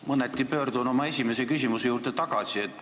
Mõneti pöördun oma esimese küsimuse juurde tagasi.